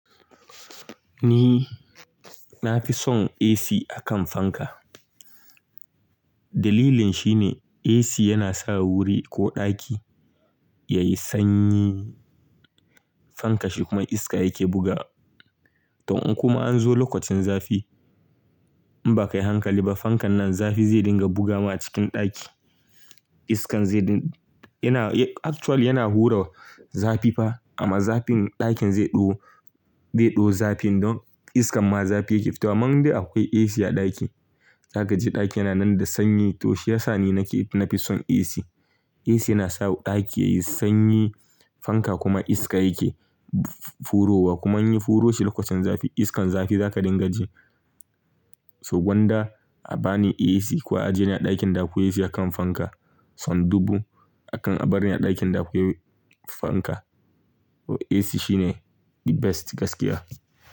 Ni na fi son AC a kan fanka. Dalilin shi ne AC yana sa wuri ko ɗaki yayi sanyi, fanka shi kuma iska yake buga. To in kuma an zo lokacin zafi in ba kayi hankali ba, fankan nan zafi zai dinga bugama cikin ɗaki. Iskan zai ding-- yana actually yana hura zafi fa amma zafin ɗakin zai ɗo, zai ɗo zafin don iskan ma zafi yake fitowa. Man dai akwai AC a ɗaki, za ka ji ɗaki yana nan da sanyi to shi yasa ni nake, na fi son AC. AC yana sa daki yayi sanyi fanka kuma iska ya ke furowa kuma in ya furo shi lokocin zafi iskan zafi za ka dinga ji so gwanda a ba ni AC ko a ajiye ni a ɗakin da akwai AC a kan fanka, son dubu akan a bar ni a ɗakin da akwai fanka. AC shine the best gaskiya.